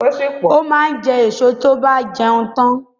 Ó máa ń jẹ́ èso tó ve jẹun tán